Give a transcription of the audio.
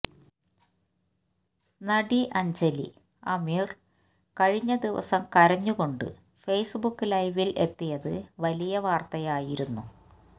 നടി അഞ്ജലി അമീര് കഴിഞ്ഞ ദിവസം കരഞ്ഞുകൊണ്ട് ഫേസ്ബുക്ക് ലൈവില് എത്തിയത് വലിയ വാര്ത്തയായിരുന്നു